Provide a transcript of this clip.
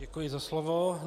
Děkuji za slovo.